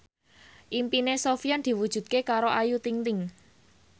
impine Sofyan diwujudke karo Ayu Ting ting